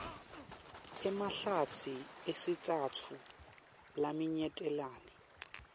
emahlatsi esitsatfu laminyetelene